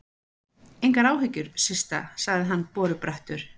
Engar áhyggjur, Systa sagði hann borubrattur.